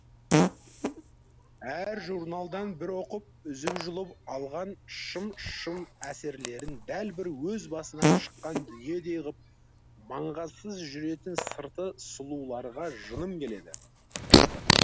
әр журналдан бір оқып үзіп жұлып алған шым шым әсерлерін дәл бір өз басынан шыққан дүниедей ғып маңғазсыз жүретін сырты сұлуларға жыным келеді